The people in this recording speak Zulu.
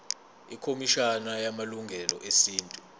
ikhomishana yamalungelo esintu